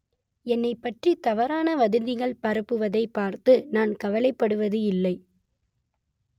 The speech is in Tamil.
என்னைப்பற்றி தவறான வதந்திகள் பரப்புவதை பார்த்து நான் கவலைப்படுவது இல்லை